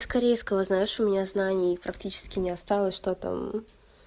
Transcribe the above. с корейского знаешь у меня знаний практически не осталось что там